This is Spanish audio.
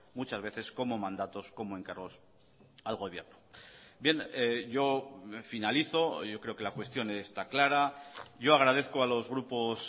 muchas veces como mandatos como encargos al gobierno bien yo finalizo yo creo que la cuestión está clara yo agradezco a los grupos